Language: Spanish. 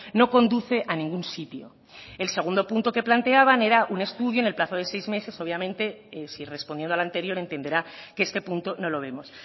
no conduce a ningún sitio el segundo punto que planteaban era un estudio en el plazo de seis meses obviamente si respondiendo al anterior entenderá que este punto no lo vemos